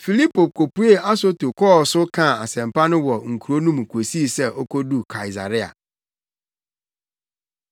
Filipo kopuee Asoto kɔɔ so kaa asɛmpa no wɔ nkurow no mu kosii sɛ okoduu Kaesarea.